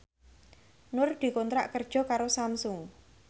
Nur dikontrak kerja karo Samsung